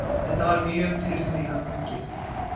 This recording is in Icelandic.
Þetta var mjög tilfinningaþrungið.